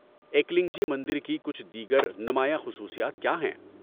‏ایکلنگ جی مندر کی کچھ دیگر نمایاں خصوصیات کیا ہیں؟‏